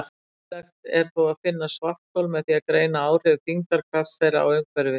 Mögulegt er þó að finna svarthol með því að greina áhrif þyngdarkrafts þeirra á umhverfið.